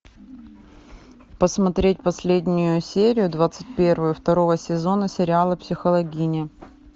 посмотреть последнюю серию двадцать первую второго сезона сериала психологини